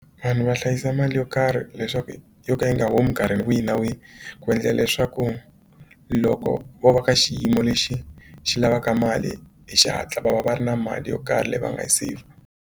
Vanhu va hlayisa mali yo karhi leswaku yo ka yi nga humi nkarhi wihi na wihi ku endlela leswaku loko vo va ka xiyimo lexi xi lavaka mali hi xihatla va va va ri na mali yo karhi leyi va nga yi seyivha.